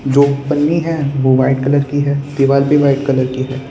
जो पन्नी है वो व्हाइट कलर की है। दीवाल भी व्हाइट कलर की है।